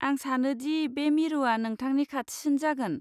आं सानो दि बे मिरुआ नोंथांनि खाथिसिन जागोन।